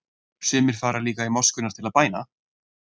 Sumir fara líka í moskurnar til bæna.